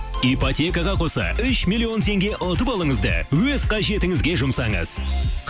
ипотекаға қоса үш миллион теңге ұтып алыңыз да өз қажетіңізге жұмсаңыз